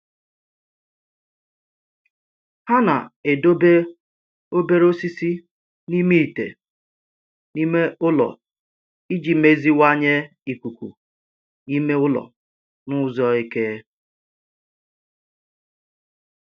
Ha na-edobe obere osisi n'ime ite n'ime ụlọ iji meziwanye ikuku ime ụlọ n'ụzọ eke